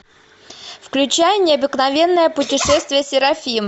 включай необыкновенное путешествие серафимы